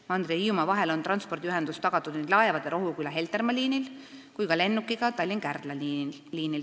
Mandri ja Hiiumaa vahel on transpordiühendus tagatud nii laevadega Rohuküla–Heltermaa liinil kui ka lennukiga Tallinna–Kärdla liinil.